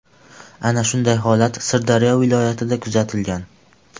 Ana shunday holat Sirdaryo viloyatida kuzatilgan.